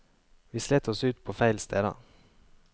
Vi slet oss ut på feil steder.